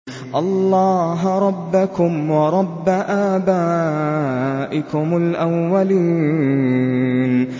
اللَّهَ رَبَّكُمْ وَرَبَّ آبَائِكُمُ الْأَوَّلِينَ